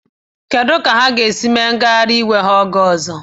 Kedu ka ha ga-esi mee ngagharị iwe ha oge ọzọ?